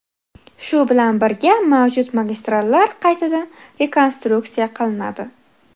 Shu bilan birga mavjud magistrallar qaytadan rekonstruktsiya qilinadi.